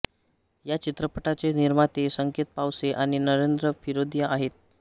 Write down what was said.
या चित्रपटाचे निर्माते संकेत पावसे आणि नरेंद्र फिरोदिया आहेत